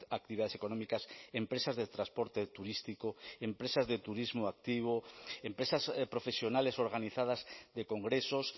actividades económicas empresas de transporte turístico empresas de turismo activo empresas profesionales organizadas de congresos